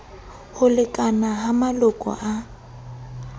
ho lekana ha maloko a